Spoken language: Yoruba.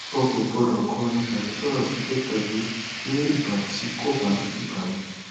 o kò gbọdọ kọrin tàbí sọrọ sókè tàbí ní ìgbà tí kò bá ìgbà mu